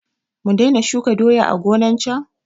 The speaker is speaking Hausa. Mu daina shuka doya a gonan can?